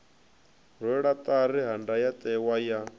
rwelwa ṱari ha ndayotewa ya